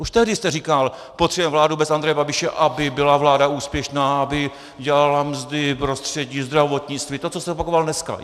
Už tehdy jste říkal, potřebujeme vládu bez Andreje Babiše, aby byla vláda úspěšná, aby udělala mzdy, prostředí, zdravotnictví, to, co jste opakoval dneska.